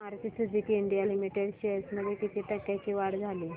Maruti Suzuki India limited shares मध्ये किती टक्क्यांची वाढ झाली